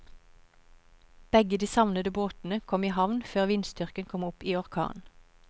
Begge de savnede båtene kom i havn før vindstyrken kom opp i orkan.